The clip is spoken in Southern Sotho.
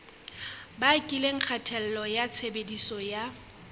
bakileng kgatello ya tshebediso ya